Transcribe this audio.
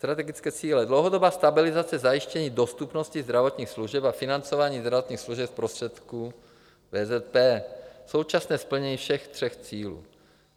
Strategické cíle - dlouhodobá stabilizace zajištění dostupnosti zdravotních služeb a financování zdravotních služeb z prostředků VZP, současné splnění všech tří cílů.